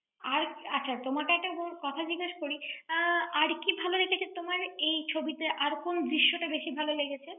আর, আচ্ছা তোমাকে একটা কথা জিজ্ঞেস করি, আহ আর কী ভালো লেগেছে তোমার৷ এই ছবিতে আর কোন দৃশ্যটা বেশি ভালো লেগেছে?